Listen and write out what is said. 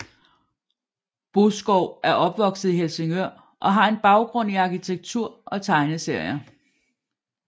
Boeskov er opvokset i Helsingør og har en baggrund i arkitektur og tegneserier